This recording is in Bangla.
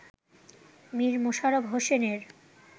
মীর মশাররফ হোসেনের